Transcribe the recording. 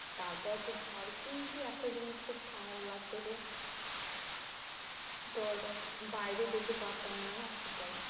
তারপর তো ধর কিন্তু একটা জিনিস খুব খারাপ লাগতো যে তোর বাইরে যেতে পারতাম না না, সেটাই।